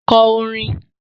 Kọ orin!